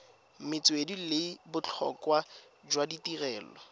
metswedi le botlhokwa jwa tirelo